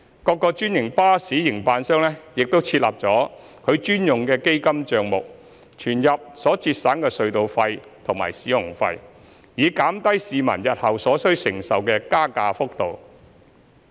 各個專營巴士營辦商已設立其專用的基金帳目，存入所節省的隧道費和使用費，以減低市民日後所需承受的加價幅度。